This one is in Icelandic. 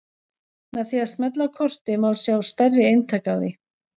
Með því að smella á kortið má sjá stærri eintak af því.